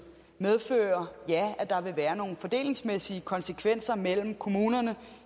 medfører ja at der vil være nogle fordelingsmæssige konsekvenser mellem kommunerne